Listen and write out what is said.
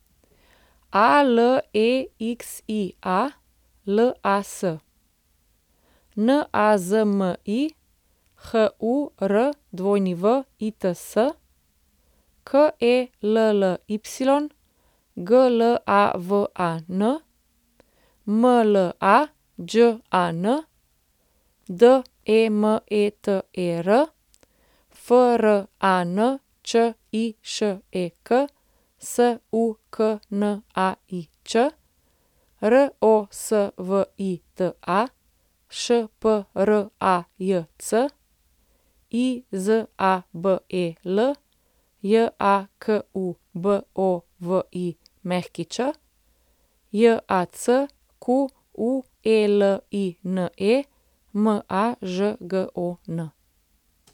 Alexia Las, Nazmi Hurwits, Kelly Glavan, Mlađan Demeter, Frančišek Suknaič, Rosvita Šprajc, Izabel Jakubović, Jacqueline Mažgon.